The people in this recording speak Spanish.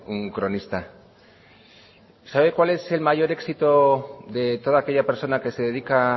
un cronista sabe cuál es el mayor éxito de toda aquella persona que se dedica